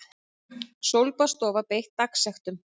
Sólbaðsstofa beitt dagsektum